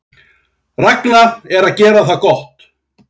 Ragna að gera það gott